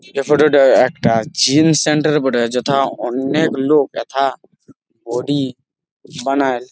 এই ফটো -টা একটা জিম সেন্টার এর বটে। যথা অনেক লোক এথা বডি বানায়।